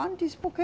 Antes, porque